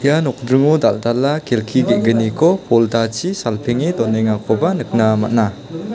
ia nokdringo dal·dala kelki ge·gniko poldachi salpenge donengakoba nikna man·a.